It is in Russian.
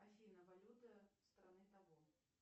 афина валюта страны того